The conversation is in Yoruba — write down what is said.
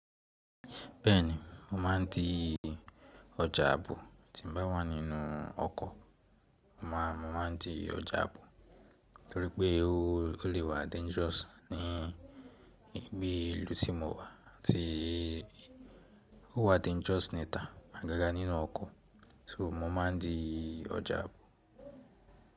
Bẹ́ẹ̀ni mo maa ń di ọjà ààbò tí n bá wà nínú ọkọ̀. Mo maa ń di ọjà ààbò torí pé ó lè wá dangerous ní ibi ìlú tí mo wà tí ó wá dangerous níta àgágá nínú ọkọ̀. So mo ma ń di ọjà ààbò.